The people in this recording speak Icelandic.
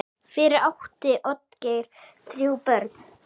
Fyrir átti Oddgeir þrjú börn.